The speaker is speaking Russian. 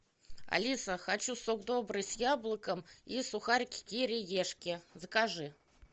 алиса хочу сок добрый с яблоком и сухарики кириешки закажи